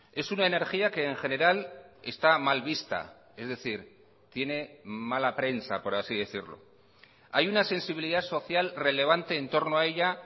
es una energía que en general está mal vista es decir tiene mala prensa por así decirlo hay una sensibilidad social relevante en torno a ella